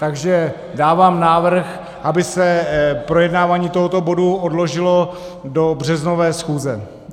Takže dávám návrh, aby se projednávání tohoto bodu odložilo do březnové schůze.